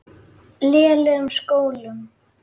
lélegum skólum.